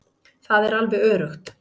Það er alveg öruggt.